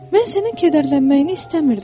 Mən sənin kədərlənməyini istəmirdim.